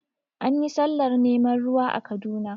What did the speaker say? Anyi sallar neman ruwa a Kaduna